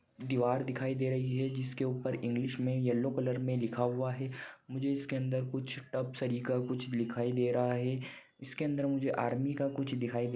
दीवार दिखाई दे रही है जिसके उपर इंग्लिश मे येल्लो कलर मे लिखा हुआ है मुझे इसके अंदर कुछ टफ सरीखा कुछ लिखाई दे रहा है। इके अंदर मुझे आर्मी का कुछ दिखाई दे--